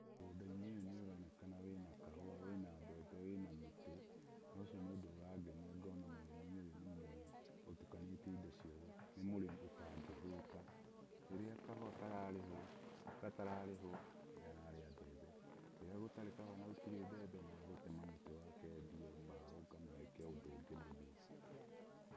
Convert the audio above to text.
Mũgũnda-inĩ ũyũ nĩ ũronekana wĩna kahũa, wĩna mbembe, wĩna mĩtĩ, na ũcio nĩ ũndũ ũrangenia ngona mũrĩmi ũyũ nĩ mũrĩmi ũtukanĩtie indo ciothe nĩ mũrĩmi ũtangĩhũta, rĩrĩa kahũa gatararĩhwo, nĩ ararĩa mbembe, rĩrĩa gũtarĩ kahũa na gũtirĩ mbembe, nĩ agũtema mũtĩ wake endie mbaũ kana eke ũndũ ũngĩ naguo.